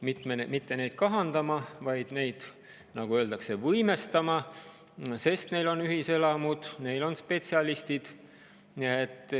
Mitte neid kahandama, vaid neid, nagu öeldakse, võimestama, sest neil on ühiselamud, neil on spetsialistid.